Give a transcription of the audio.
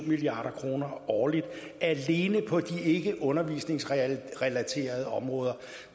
milliard kroner årligt alene på de ikke undervisningsrelaterede områder